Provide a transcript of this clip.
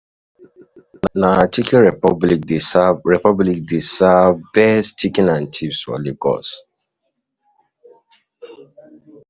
Na Chicken Republic dey serve Republic dey serve best chicken and chips for Lagos.